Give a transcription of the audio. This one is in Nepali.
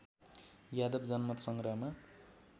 यादव जनमतसँग्रहमा